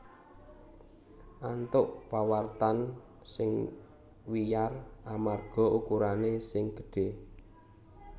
antuk pawartan sing wiyar amarga ukurané sing gedhé